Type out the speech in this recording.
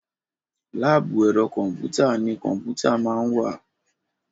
láàbù ẹ̀rọ kọ̀m̀pútà ni kọ̀m̀pútà máa ń wà.